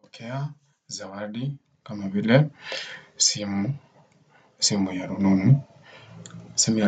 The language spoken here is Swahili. Pokea zawadi kama vile simu. Simu ya